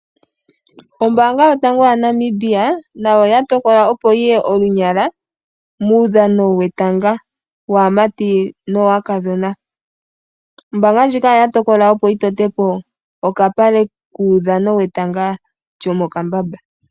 Ombanga yotango yaNamibia nayo oya tokola opo yiye onyala muudhano wetanga waamati nowakadhina, ombanga ndjika oya tokola opo yi tote po okapale kuudhano wetanga lyomo kambamba.